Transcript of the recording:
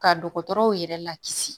Ka dɔgɔtɔrɔw yɛrɛ lakisi